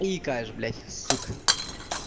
и икаешь блядь сука